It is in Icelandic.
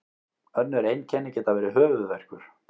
önnur einkenni geta verið höfuðverkur